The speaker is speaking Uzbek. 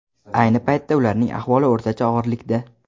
Ayni paytda ularning ahvoli o‘rtacha og‘irlikda.